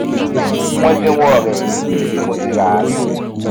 wọn dínwó rẹ kù níbi tí mo ti ràá ni